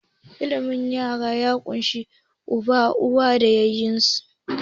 Iyalin nukiliya ya ƙunshi Uba, Uwa, da ƴaƴansu.